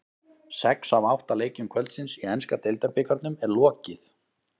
Sex af átta leikjum kvöldsins í enska deildabikarnum er lokið.